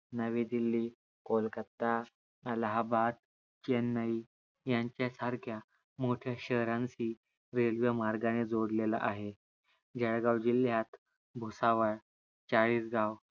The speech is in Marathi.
नवी दिल्ली, कोलकाता, अलाहाबाद, चेन्नई यांच्या सारख्या मोठ्या शहरानंशी रेल्वे मार्गाने जोडलेला आहे. जळगाव जिल्यात भुसावळ, चाळीसगाव